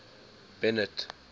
bennet